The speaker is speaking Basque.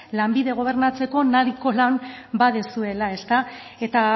lanbide gobernatzeko nahiko lan baduzuela eta